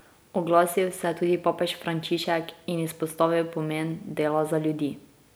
Oglasil se je tudi papež Frančišek in izpostavil pomen dela za ljudi.